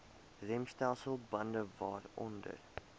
remstelsel bande waaronder